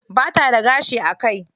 Bata da gashi a kai.